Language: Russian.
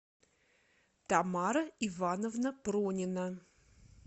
тамара ивановна пронина